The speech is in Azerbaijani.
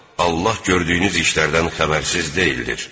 Allah gördüyünüz işlərdən xəbərsiz deyildir.